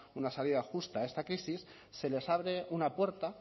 una salida justa a esta crisis se les abre una puerta